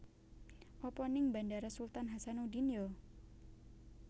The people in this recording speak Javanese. Apa ning Bandara Sultan Hassanudin yo?